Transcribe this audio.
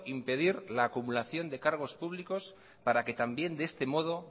impedir la acumulación de cargos públicos para que también de este modo